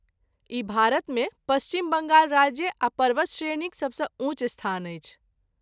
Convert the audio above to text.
ई भारतमे पश्चिम बङ्गाल राज्य आ पर्वतश्रेणीक सबसँ ऊँच स्थान अछि।